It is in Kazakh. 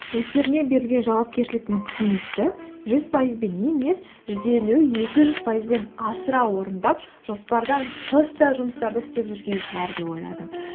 өздеріне берілген жауапкершілік пен қызметті жүз пайызбен емес жүз елу екі жүз пайызбен асыра орындап жоспардан тыс та жұмыстарды істеп жүрген шығар деп ойладым